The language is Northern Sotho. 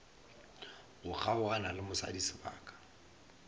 go kgaogana le mosadi sebaka